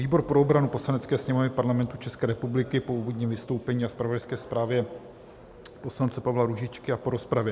"Výbor pro obranu Poslanecké sněmovny Parlamentu České republiky po úvodním vystoupení a zpravodajské zprávě poslance Pavla Růžičky a po rozpravě